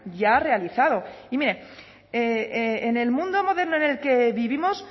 ya realizado y mire en el mundo moderno en el que vivimos